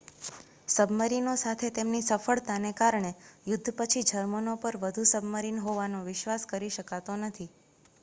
સબમરીનોસાથે તેમની સફળતાને કારણે યુદ્ધ પછી જર્મનો પર વધુ સબમરીન હોવાનો વિશ્વાસ કરી શકાતો નથી